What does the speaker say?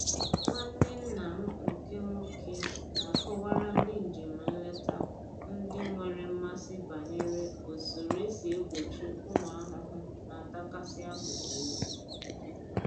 Nwanne nna m nke nwoke na-akọwara ndị njem nleta ndị nwere mmasị banyere usoro e si egbochi ụmụ ahụhụ na-atakasị akụkụ ubi